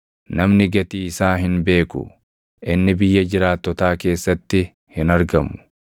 Namni gatii isaa hin beeku; inni biyya jiraattotaa keessatti hin argamu.